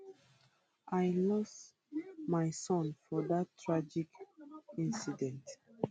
um i lose my son for dat tragic incident